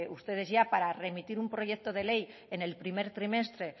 ustedes ya para remitir un proyecto de ley en el primer trimestre